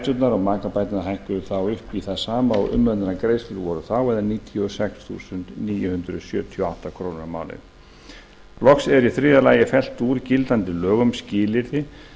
umönnunarbætur og makabætur hækki upp í það sama og umönnunargreiðslur voru þá eða níutíu og sex þúsund níu hundruð sjötíu og átta krónur á mánuði loks er í þriðja lagi fellt úr gildandi lögum skilyrði